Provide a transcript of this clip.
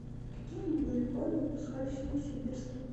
какие магнитофоны выпускались в новосибирске